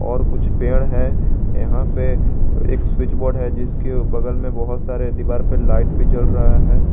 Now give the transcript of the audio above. और कुछ पेड़ है यहां पे एक स्विच बोर्ड है जिसके बगल में बहुत सारे दीवार पर लाइट भी जल रहा है।